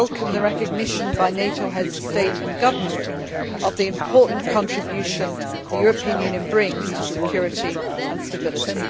I welcome the recognition by NATO Heads of State and Government of the important contribution the European Union brings to security and stability.